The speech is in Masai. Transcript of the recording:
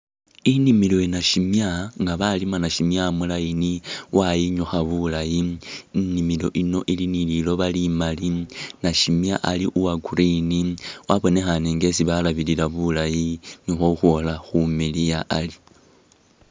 Inimilo ya’nashimya nga balima nashimwa mu’line wayinyakha bulayi, inimilo ino ili nililoba limali nashimya ali uwa’green wabonekhane inga isi balabilila bulayi nio ukhwola khumiliya ari .